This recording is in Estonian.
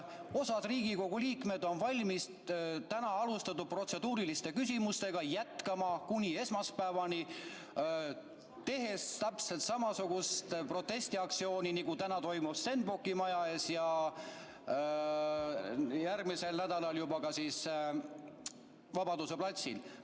Osa Riigikogu liikmeid on valmis täna alustatud protseduuriliste küsimustega jätkama kuni esmaspäevani, tehes täpselt samasugust protestiaktsiooni, nagu täna toimub Stenbocki maja ees ja järgmisel nädalal Vabaduse platsil.